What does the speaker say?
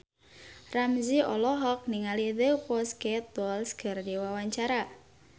Ramzy olohok ningali The Pussycat Dolls keur diwawancara